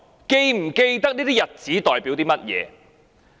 是否記得這些日子代表甚麼？